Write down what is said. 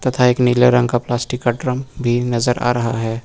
तथा एक नीले रंग का प्लास्टिक का ड्रम भी नजर आ रहा है।